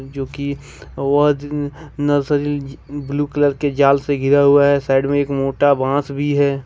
जो कि nursery blue colour के जाल से घीरा हुआ है साइड में एक मोटा बांस भी है।